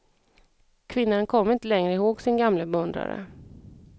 Kvinnan kom inte längre ihåg sin gamle beundrare.